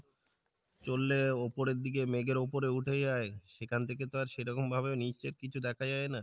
চললে ওপরের দিকে মেঘের উপরে উঠে যাই সেখান থেকে তো আর সেরকম ভাবে নীচের কিছু দেখা যাই না।